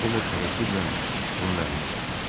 Ovod tərəddüdlə onun əlinə baxdı.